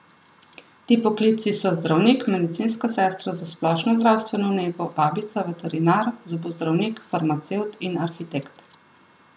Ti poklici so zdravnik, medicinska sestra za splošno zdravstveno nego, babica, veterinar, zobozdravnik, farmacevt in arhitekt.